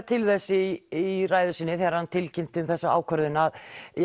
til þess í í ræðu sinni þegar hann tilkynnti um þessa ákvörðun að